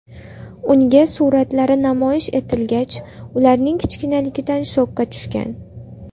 Unga suratlari namoyish etilgach, ularning kichkinaligidan shokka tushgan.